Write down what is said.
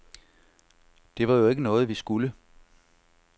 Det var jo ikke noget, vi skulle.